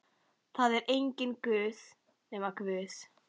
Það er enginn Guð nema Guð.